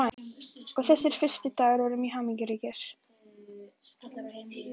Og þessir fyrstu dagar voru mjög hamingjuríkir.